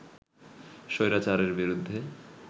স্বৈরাচারের বিরুদ্ধে